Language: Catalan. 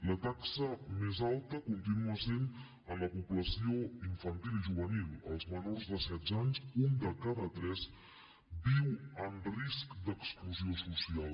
la taxa més alta continua sent en la població infantil i juvenil dels menors de setze anys un de cada tres viu en risc d’exclusió social